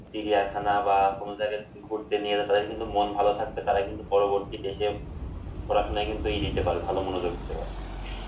চিড়িয়াখানা বা কোন জায়গায় ঘুরতে নিয়ে যেতে পারে কিন্তু মন ভালো থাকতে পারে পরবর্তী ক্ষেত্রে পড়াশোনায় কিন্তু ভালো মনোযোগ দিতে পারে।